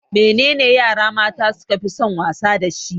Me ye yara mata su kafi son wasa dashi?